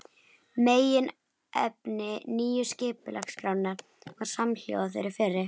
Meginefni nýju skipulagsskrárinnar var samhljóða þeirri fyrri.